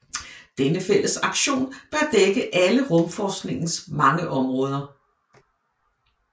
Denne fælles aktion bør dække alle rumforskningens mange områder